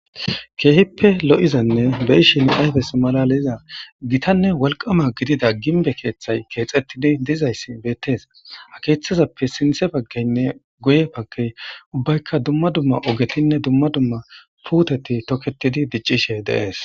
keehippe lo7izanne beyshin aybes malaleza gitanne walqama gidida ginbe keeththay keexettidi diizayssi beettees akeeththazappe sinthe baggeynne goye pake ubbaykka dumma dumma ogetinne dumma dumma puuteti toketidi diccishe deees